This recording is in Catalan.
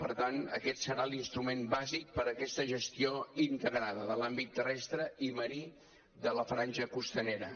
per tant aquest serà l’instrument bàsic per a aquesta gestió integrada de l’àmbit terrestre i marí de la franja costanera